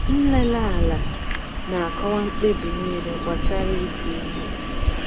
Nlele ala na-akọwa mkpebi niile gbasara ịkụ ihe.